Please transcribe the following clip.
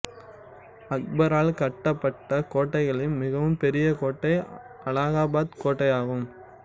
அக்பரால் கட்டப்பட்ட கோட்டைகளில் மிகவும் பெரிய கோட்டை அலகாபாத் கோட்டையாகும்